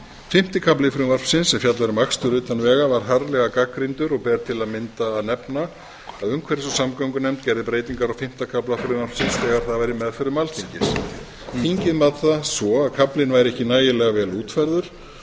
fimmti kafli frumvarpsins sem fjallar um akstur utan vega var harðlega gagnrýndur og ber til að mynda að nefna að umhverfis og samgöngunefnd gerði breytingar á fimmta kafla frumvarpsins þegar það var í meðförum alþingis þingið mat það svo að kaflinn væri ekki nægilega vel útfærður